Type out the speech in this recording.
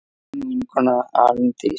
Þín vinkona Arndís.